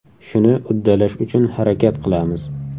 Shuni uddalash uchun harakat qilamiz.